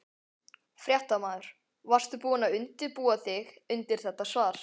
Fréttamaður: Varstu búinn að undirbúa þig undir þetta svar?